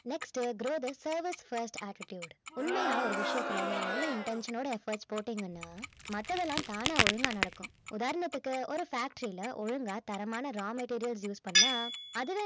next grow the service first attitude உண்மையா ஒரு விஷயத்துல நீங்க நல்ல intention ஓட efforts போட்டீங்கன்னா மத்ததெல்லாம் தானா ஒழுங்கா நடக்கும் உதாரணத்துக்கு ஒரு factory ல ஒழுங்கா தரமான raw materials use பண்ணா அதுவே